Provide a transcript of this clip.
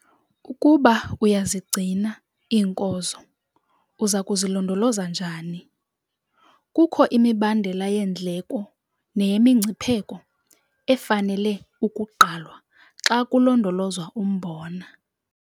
Ukuba uyazigcina iinkozo, uza kuzilondoloza njani? Kukho imibandela yeendleko neyemingcipheko efanele ukugqalwa xa kulondolozwa umbona.